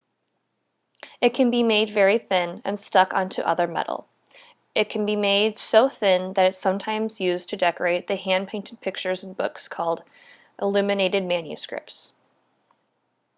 it can be made very thin and stuck onto other metal it can be made so thin that it was sometimes used to decorate the hand-painted pictures in books called illuminated manuscripts